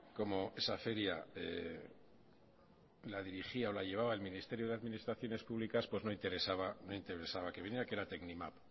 como esa feria la dirigía o la llevaba el ministerio de administraciones públicas pues no interesaba que viniera que era tecnimap